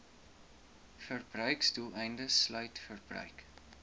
verbruiksdoeleindes sluit verbruik